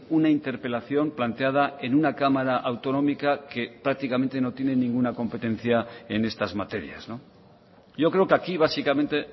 una interpelación planteada en una cámara autonómica que prácticamente no tiene ninguna competencia en estas materias yo creo que aquí básicamente